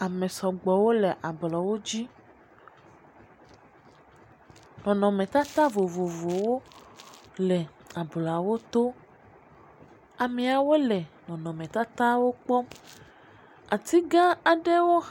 Ame sɔgbɔwo le ablɔwo dzi, nɔnɔme tata vovovowo le ablɔawo to, amiawo le nɔnɔ me tatawo kpɔm ati ga aɖe wo…